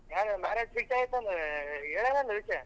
ಏ marriage fix ಆಯ್ತಲ್ಲ ಹೇಳೆದಲ್ಲ ವಿಷ್ಯ?